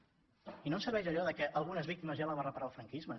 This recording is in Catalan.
i no ens serveix allò de algunes víctimes ja les va reparar el franquisme